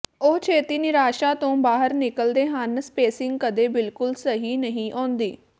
ਉਹ ਛੇਤੀ ਨਿਰਾਸ਼ਾ ਤੋਂ ਬਾਹਰ ਨਿਕਲਦੇ ਹਨ ਸਪੇਸਿੰਗ ਕਦੇ ਬਿਲਕੁਲ ਸਹੀ ਨਹੀਂ ਆਉਂਦੀ